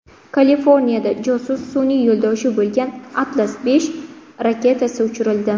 Kaliforniyada josus sun’iy yo‘ldoshi bo‘lgan Atlas V raketasi uchirildi .